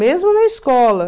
Mesmo na escola.